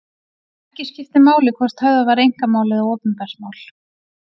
Ekki skiptir máli hvort höfðað var einkamál eða opinbert mál.